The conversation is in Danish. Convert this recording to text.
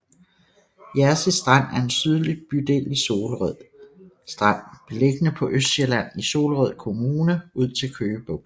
Jersie Strand er en sydlig bydel i Solrød Strand beliggende på Østsjælland i Solrød Kommune ud til Køge Bugt